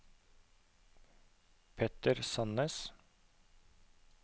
Petter Sannes